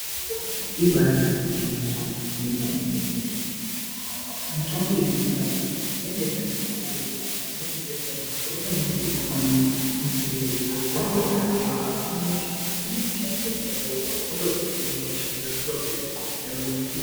Ibari gwinyiso remene mene mitombo yekudhaya yanga yakanaka kwemene ngekuti waitoziva kuti hosha yakanyanya kubata maningi musina mari yekuenda kuchibhedhlera kana nyamashi unotashandisa mitombo wotohina hosha iyo wotopora.